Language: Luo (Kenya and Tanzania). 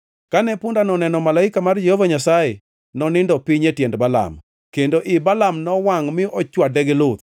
Kane pundano oneno malaika mar Jehova Nyasaye, nonindo piny e tiend Balaam, kendo ii Balaam nowangʼ mi ochwade gi luth.